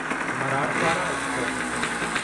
Marathwada express